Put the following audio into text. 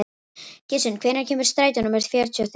Gissunn, hvenær kemur strætó númer fjörutíu og þrjú?